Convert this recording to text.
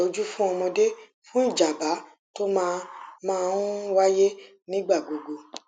daba itoju fún ọmọdé fún ìjábá tó máa máa ń wáyé nígbà gbogbo